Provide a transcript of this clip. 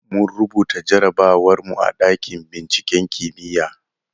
Mun rubuta jarrabawar mu a ɗakin binciken kimiyya.